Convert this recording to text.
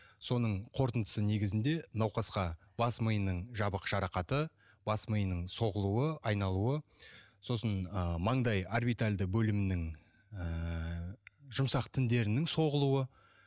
соның қорытындысы негізінде науқасқа бас миының жабық жарақаты бас миының соғылуы айналуы сосын ы маңдай орбитальды бөлімінің ыыы жұмсақ тіндерінің соғылуы